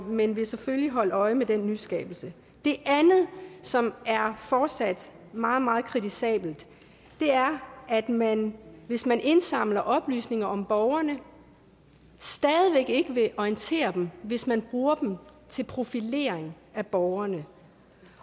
men vil selvfølgelig holde øje med den nyskabelse det andet som fortsat er meget meget kritisabelt er at man hvis man indsamler oplysninger om borgerne stadig ikke vil orientere dem hvis man bruger til profilering af borgerne